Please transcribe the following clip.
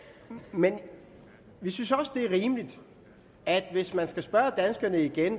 men vi synes også det er rimeligt at hvis man skal spørge danskerne igen